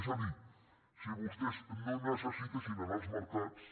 és a dir si vostès no necessitessin anar als mercats